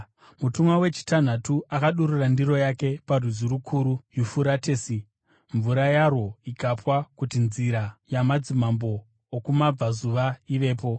Mutumwa wechitanhatu akadurura ndiro yake parwizi rukuru Yufuratesi, mvura yarwo ikapwa kuti nzira yamadzimambo okumabvazuva ivepo.